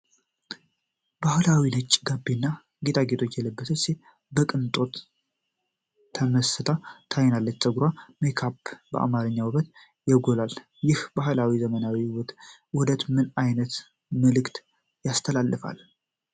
ባህላዊ ነጭ ጋቢና ጌጣጌጦች የለበሰች ሴት በቅንጦት ተመስላ ትታያለች። ፀጉሯና ሜካፕዋ የአማርኛን ውበት ያጎላል። ይህ የባህላዊና ዘመናዊ ውበት ውህደት ምን ዓይነት መልእክት ያስተላልፋል?